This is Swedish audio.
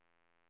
utmärkt